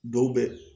Dɔw bɛ